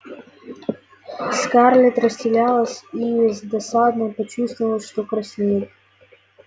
скарлетт растерялась и с досадой почувствовала что краснеет